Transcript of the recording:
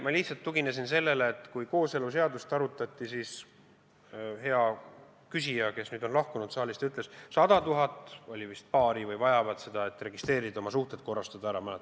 Ma lihtsalt tuginesin sellele, et kui kooseluseadust arutati, siis hea küsija, kes nüüd on saalist lahkunud, ütles, et vist sada tuhat paari vajavad seda, et oma suhe registreerida, ära korrastada.